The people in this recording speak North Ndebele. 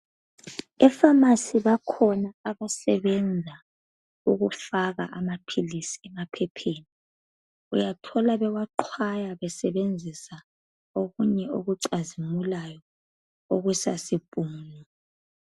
Efamasi bakhona abasebenza ukufaka amaphilisi emaphepheni uyathola bewaqhwaya besebenzisa okunye okucazimulayo okusa khezo.